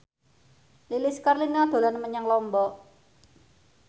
Lilis Karlina dolan menyang Lombok